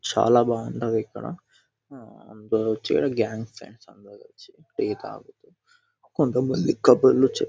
చాలా బాగుంటది ఇక్కడ. ఆ అందరూ వచ్చి ఇక్కడ గ్యాంగ్ ఫ్రెండ్స్ అందరొచ్చి టీ తాగుతూ కొంతమంది కబుర్లు చెప్--